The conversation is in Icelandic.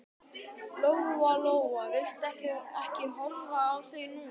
Lóa Lóa vildi ekki horfa í þau núna.